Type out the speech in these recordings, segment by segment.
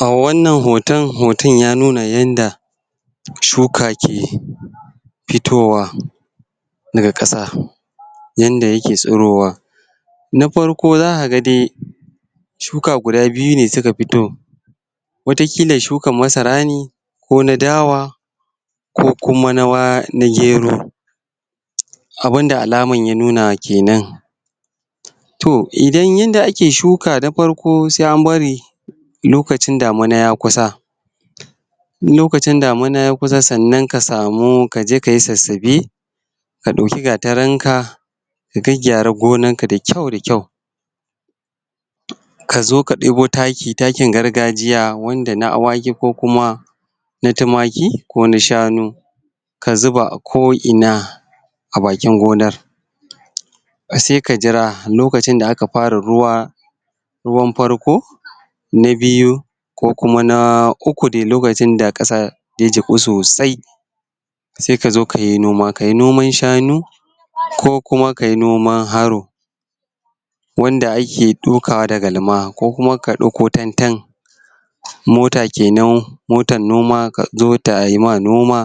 A wannan hoton, hoton ya nuna yanda shuka ke fitowa daga ƙasa yanda ya ke tsirowa. Na farko za ka ga dai shuka guda biyu ne suka fito wataƙila shukan masara ne ko na dawa ko kuma na gero abunda alaman ya nuna ke nan To idan yanda ake shuka na farko sai an bari lokacin damana ya kusa in lokacin daman ya kusa sannan ka samu kaje kayi sassabe. Ka ɗauki gatarin ka, ka gyaggyara ganoar ka da kyau da kyau. Ka zo ka ɗebo taki, takin gargajiya wanda na awaki ko kuma na tumaki ko na shanu ka zuba a ko'ina a bakin gonar. Sai ka jira lokacin da aka fara ruwa ruwan farko. Na biyu ko kuma na uku dai lokacin da ƙasa ya jiƙu sosai sai kazo kayi noma, kayi noman shanu, ko kuma kayi noman haro wanda ake dokawa da galma. Ko kuma ka ɗauko tantan mota kenan, motan noma ta zo tayi ma noma.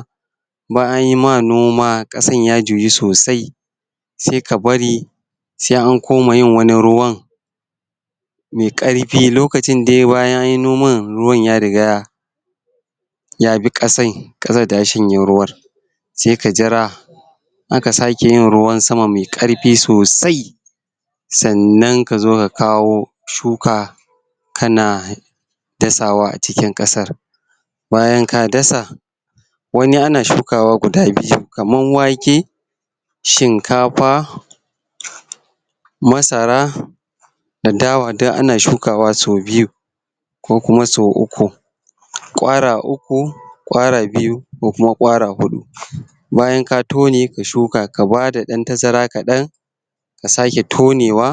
Bayan anyi ma noma ƙasan ya juyu sosai sai ka bari sai an koma wani ruwan mai ƙarfin, lokacin dai bayan anyi noman ruwan ya riga yabi ƙasan, ƙasan ta shanye ruwan. Sai ka jira aka sake yin ruwan sama mai ƙarfi sosai sannan kazo ka kawo shuka, ka na dasawa a cikin ƙasar. Bayan ka dasa wani ana shukawa guda biyu, kaman wake, shinkafa, masara, da dawa duk ana shukawa sau biyu ko kuma sau uku ƙwara uku, ƙwara biyu, ko kuma ƙwara shuɗu. Bayan ka tone ka shuka, ka bada ɗan tazara kaɗan, ka sake tonewa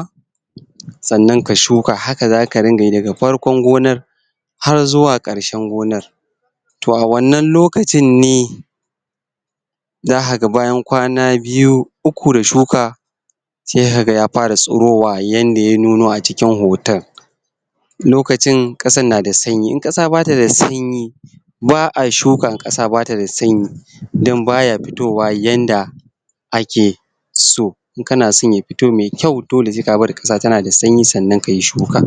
sannan ka shuka haka zaka ringa yi daga farkon gonar har zuwa ƙarshen gonar. To a wannan lokacin ne zaka ga bayan kwana biyu uku da shuka sai ka ga ya fara tsirowa yanda ya nuno a cikin hoton. Lokacin ƙasan na da sanyi, in ƙasa ba ta da sanyi ba'a shuka in ƙasa ba ta da sanyi dan ba ya fitowa yanda ake so. In ka na son ya fito mai kyau dole sai ka bari ƙasa ta na da sanyi sannan kayi shuka.